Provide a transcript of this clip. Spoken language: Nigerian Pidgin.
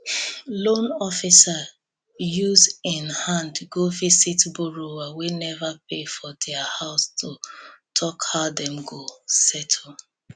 loan officer use en hand go visit borrower wey never pay for their house to talk how dem go settle